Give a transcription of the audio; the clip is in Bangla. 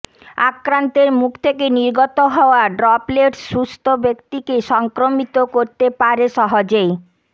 আক্রান্তের মুখ থেকে নির্গত হওয়া ড্রপলেটস সুস্থ ব্যক্তিকে সংক্রামিত করতে পারে সহজেই